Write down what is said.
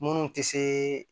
Minnu tɛ se